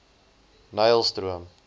nylstroom